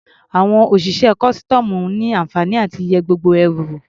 Àwọn òṣìṣẹ́ kọ́sítọ́ọ̀mù ní àǹfààní láti yẹ gbogbo ẹrù wò.